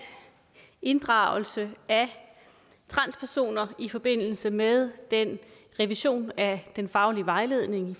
inddragelse af transpersoner i forbindelse med den revision af den faglige vejledning